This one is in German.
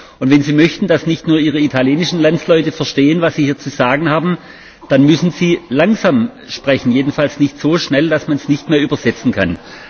Und wenn Sie möchten, dass nicht nur Ihre italienischen Landsleute verstehen, was Sie hier zu sagen haben, dann müssen Sie langsam sprechen, jedenfalls nicht so schnell, dass man es nicht mehr übersetzen kann.